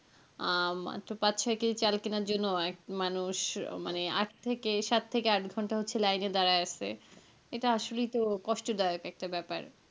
আহ মাত্র পাঁচ ছয় কেজি চাল কেনার জন্য একটা মানুষ মানে আট থেকে সাত থেকে আট ঘন্টা line এ দাঁড়ায় আছে এটা শুনেই তো কষ্ট দায়ক একটা ব্যাপার.